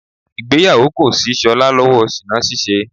Ìgbéyàwó kò ṣí Ṣọlá lọ́wọ́ ṣìná ní ṣíṣe.